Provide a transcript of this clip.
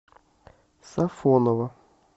сафоново